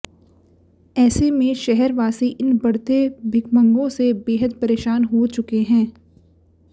ऐसे में शहरवासी इन बढ़ते भिखमंगों से बेहद परेशान हो चुके हैं